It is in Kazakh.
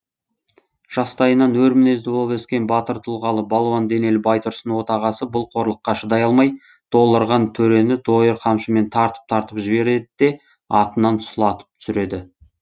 жастайынан өр мінезді болып өскен батыр тұлғалы балуан денелі байтұрсын отағасы бұл қорлыққа шыдай алмай долырған төрені дойыр қамшымен тартып тартып жібереді де атынан сұлатып түсіреді